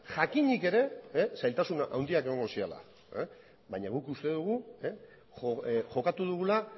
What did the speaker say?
jakinik ere zailtasun handiak egongo zirela baina guk uste dugu jokatu dugula